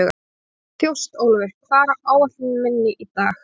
Þjóstólfur, hvað er á áætluninni minni í dag?